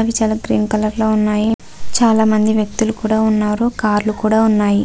అవి చాలా green colour లో ఉన్నాయి చాలా మంది వ్యక్తులు కూడా ఉన్నారు కార్ లు కూడా ఉన్నాయి.